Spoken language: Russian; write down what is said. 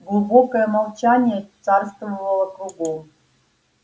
глубокое молчание царствовало кругом